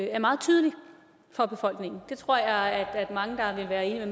er meget tydelig for befolkningen det tror jeg mange vil være enige